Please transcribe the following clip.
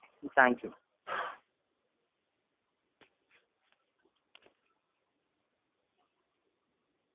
um thank you